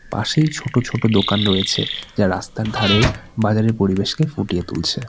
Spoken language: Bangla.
পাশেই ছোট ছোট দোকান রয়েছে যা রাস্তার ধারে বাজারের পরিবেশকে ফুটিয়ে তুলছে।